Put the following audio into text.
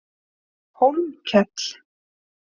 Hólmkell